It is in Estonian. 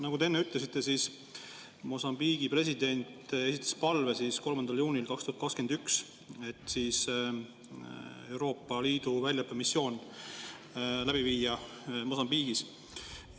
Nagu te enne ütlesite, Mosambiigi president esitas 3. juunil 2021 palve, et Euroopa Liidu väljaõppemissioon Mosambiigis läbi viia.